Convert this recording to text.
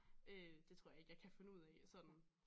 Øh det tror jeg ikke jeg kan finde ud af sådan